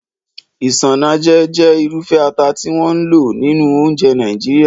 Isanaje jẹ́ irúfẹ́ ata tí wọ́n ń lò nínú oúnjẹ Nàìjíríà.